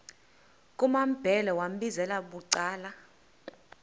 kumambhele wambizela bucala